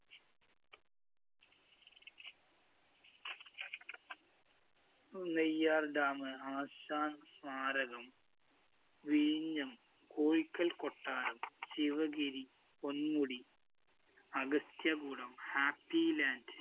Neyyar‍ dam മ്, ആശാന്‍ സ്മാരകം, വിഴിഞ്ഞം, കോഴിക്കല്‍ കൊട്ടാരം, ശിവഗിരി, പൊന്മുടി, അഗസ്ത്യകൂടം, ഹാപ്പി ലാന്‍ഡ്‌